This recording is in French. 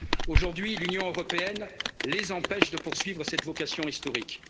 Aujourd'hui, l'Union européenne les empêche de poursuivre cette vocation historique.